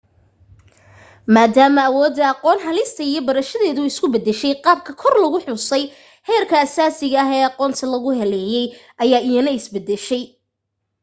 maadaama awoodda aqoon helista iyo barashadeedu isu beddeshay qaabka kor lagu xusay heerka asaasiga ah ee aqoonta lagu helayay ayaa iyana is beddeshay